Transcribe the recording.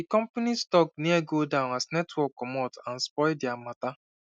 the company stock near go down as network commot and spoil their matter